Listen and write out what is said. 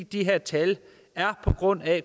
de her tal er på grund af